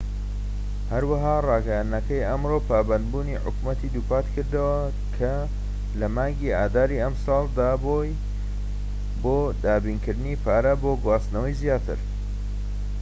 هەروەها ڕاگەیاندنەکەی ئەمڕۆ پابەندبوونی حکومەتی دووپات کردەوە کە لە مانکی ئاداری ئەم ساڵ دابووی بۆ دابینکردنی پارە بۆ گواستنەوەی زیاتر